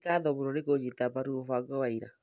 Nĩ ngatho mũno nĩ kũnyita mbaru mũbango wa ira.